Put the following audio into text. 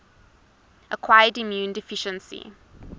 acquired immune deficiency